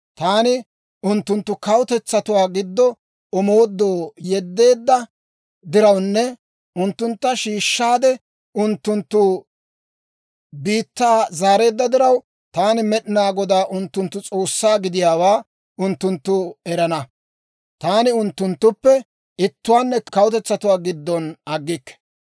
Taani unttunttu kawutetsatuwaa giddo omoodoo yeddeedda dirawunne unttuntta shiishshaade, unttunttu biittaa zaareedda diraw, taani Med'inaa Godaa unttunttu S'oossaa gidiyaawaa unttunttu erana. Taani unttunttuppe ittuwaanne kawutetsatuwaa giddon aggikke.